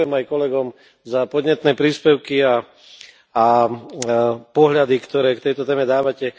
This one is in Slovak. A ďakujem aj kolegom za podnetné príspevky a pohľady, ktoré k tejto téme dávate.